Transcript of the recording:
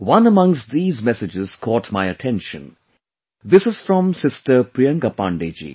One amongst these messages caught my attention this is from sister Priyanka Pandey ji